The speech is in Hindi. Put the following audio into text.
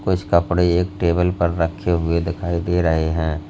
कुछ कपड़े एक टेबल पर रखे हुए दिखाई दे रहे हैं।